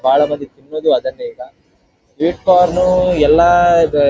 ಬಹಳ ಮಂದಿ ತಿನ್ನುವುದು ಅದನ್ನೇ ಈಗ ಸ್ವೀಟ್ ಕಾರ್ನ್ ಎಲ್ಲ ಈದ್ --